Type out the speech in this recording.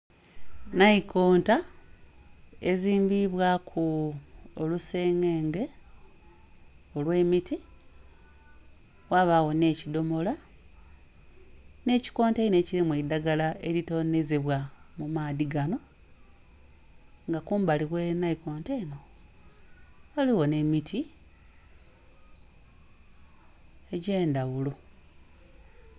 Naikonta ezimbiibwaku olusengenge olw'emiti ghabagho nh'ekidhomola nh'ekikonteyina ekilimu eidhagala elitonhezebwa mu maadhi ganho, nga kumbali oghe naikonta enho ghaligho nh'emiti egy'endaghulo.